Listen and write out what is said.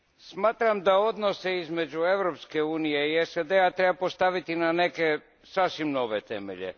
Smatram da odnose između Europske unije i SAD a treba postaviti na neke sasvim nove temelje.